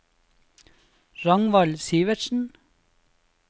Ragnvald Sivertsen